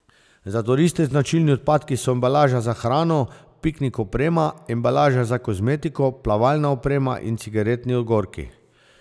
Za turiste značilni odpadki so embalaža za hrano, piknik oprema, embalaža za kozmetiko, plavalna oprema in cigaretni ogorki.